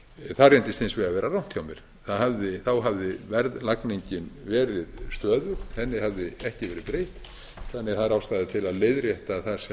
það reyndist hins vegar vera rangt hjá mér þá hafði verðlagningin verið stöðug henni hafði ekki verið breytt þannig að það er ástæða til að leiðrétta það sem